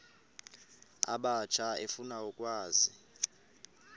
abatsha efuna ukwazi